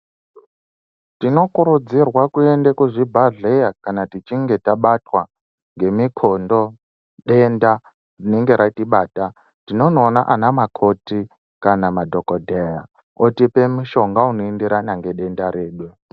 Tinokurudzirwa kuenda kuchibhadhleaa kana tichinge tabatwa ngemukundo denda rinenge ratibata tinoona anamakoti kana madhogodheya otipe mushonga unoenderana nedenda ririyo.